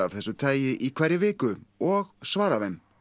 þessu tagi í hverri viku og svarar þeim